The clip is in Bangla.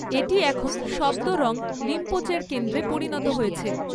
এটি এখন শব্দরং রিম্পোচের কেন্দ্রে পরিণত হয়েছে।